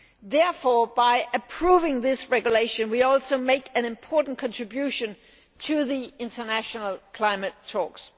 Therefore, by approving this regulation, we will also make an important contribution to the international climate talks.